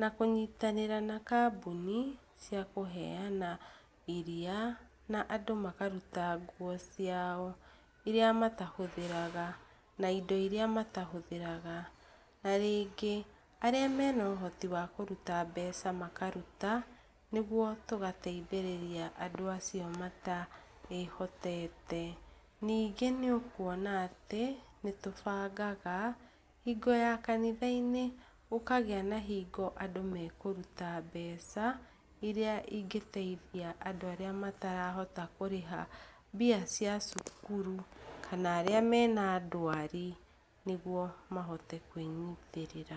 na kũnyitanĩra na kambuni cia kũheana iria, na andũ makaruta nguo ciao iria matahũthĩraga na indo iria matahũthagĩraga. Na rĩngĩ, arĩa mena ũhoti wa kũruta mbeca makaruta, nĩguo tũgateithĩrĩria andũ acio mataĩhotete. Ningĩ nĩ ũkũona atĩ, nĩ tũbangaga hingo ya kanitha-inĩ, gũkagĩa na hingo andũ mekũruta mbeca iria ingĩteithia andũ arĩa matarahota kũrĩha mbia cia cukuru, kana arĩa mena ndwari nĩguo mahote kwĩnyitĩrĩra.